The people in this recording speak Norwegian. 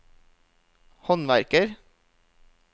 håndverker